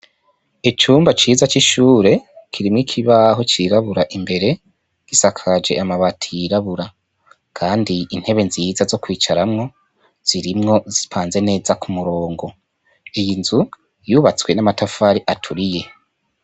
Icumba ciza c'ishure kirimwo ikibaho cirabura imbere gisakaje amabati yirabura, kandi intebe nziza zo kwicaramwo zirimwo zipanze neza ku murongo iyi nzu yubatswe n'amatafari aturiye.